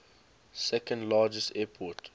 second largest airport